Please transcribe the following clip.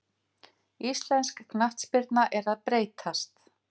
Íslensk knattspyrna er að breytast.